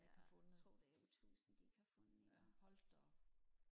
ja jeg tror det er tusind de ikke har fundet endnu